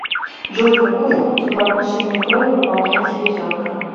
джой какую функцию по отношению к крови выполняет селезенка